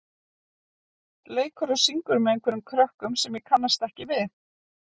leikur og syngur með einhverjum krökkum sem ég kannast ekki við.